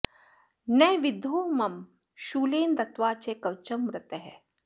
न विद्धो मम शूलेन दत्वा च कवचं मृतः